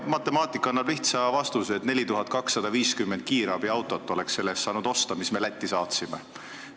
Matemaatika annab lihtsa vastuse, et 4250 kiirabiautot oleks saanud osta selle raha eest, mis me Lätti saatsime.